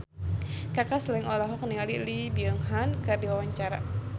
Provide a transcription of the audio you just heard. Kaka Slank olohok ningali Lee Byung Hun keur diwawancara